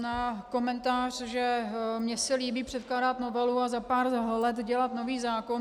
Na komentář, že mně se líbí předkládat novelu a za pár let dělat nový zákon.